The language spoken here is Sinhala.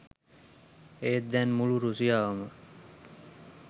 ඒත් දැන් මුළු රුසියාවම